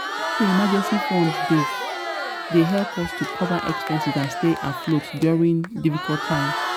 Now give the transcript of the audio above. um i know say emergency fund dey um help us to cover expenses and stay afloat during difficult time.